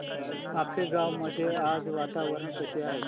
आपेगाव मध्ये आज वातावरण कसे आहे